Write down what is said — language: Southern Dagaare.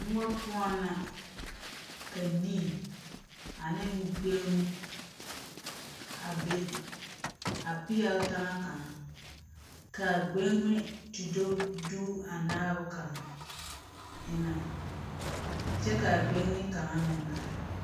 Mõͻ poͻ na, ka nii ane gbeŋime a be, a peԑle taŋa kaŋa, ka a gbeŋime te do duu a naabo kaŋa eŋԑŋ kyԑ kaa gbeŋini kaŋa meŋ are.